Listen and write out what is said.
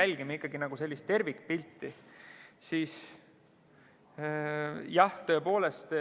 jälgib ikkagi sellist tervikpilti, kui neid analüüse tehakse?